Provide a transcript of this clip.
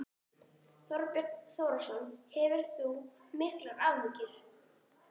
Þorbjörn Þórðarson: Hefur þú miklar áhyggjur?